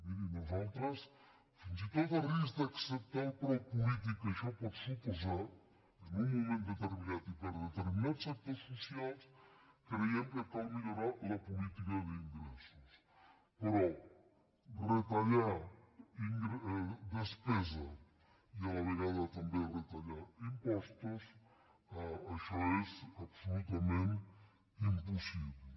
miri nosaltres fins i tot a risc d’acceptar el preu polític que això pot suposar en un moment determinat i per determinats sectors socials creiem que cal millorar la política d’in·gressos però retallar despesa i a la vegada també re·tallar impostos això és absolutament impossible